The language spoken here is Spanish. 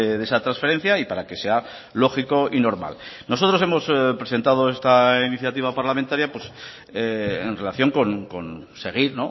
de esa transferencia y para que sea lógico y normal nosotros hemos presentado esta iniciativa parlamentaria en relación con seguir